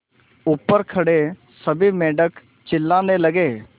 ऊपर खड़े सभी मेढक चिल्लाने लगे